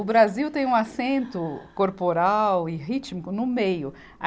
O Brasil tem um acento corporal e rítmico no meio. a